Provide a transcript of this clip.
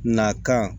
Nakan